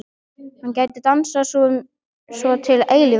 Hann gæti dansað svona til eilífðar.